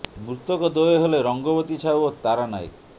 ମୃତକ ଦ୍ୱୟ ହେଲେ ରଙ୍ଗବତୀ ସାହୁ ଓ ତାରା ନାୟକ